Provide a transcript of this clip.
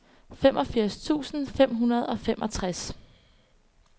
femogfirs tusind fem hundrede og femogtres